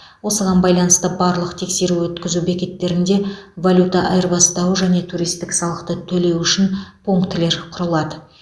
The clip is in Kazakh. осыған байланысты барлық тексеру өткізу бекеттерінде валюта айырбастау және туристік салықты төлеу үшін пунктілер құрылады